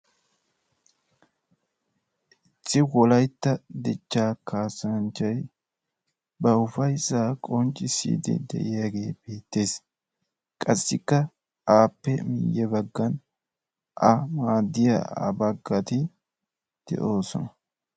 issi wolaytta dichchaa kaassanchchay ba ufayssaa qonccissiiddi de"iyage beettes. qassikka aappe ya baggan a maaddiya baggati de'oosona.